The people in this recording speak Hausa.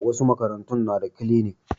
Wasu makarantun na da kilinik